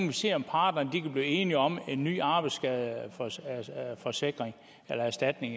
vi se om parterne kan blive enige om en ny arbejdsskadeforsikring eller erstatning